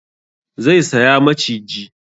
Zai saya maciji